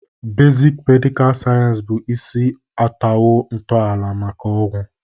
Bezịk medịkal sayensị bụ isi atọwo ntọala maka ọgwụ.